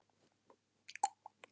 Hvað eiga sjómenn að gera?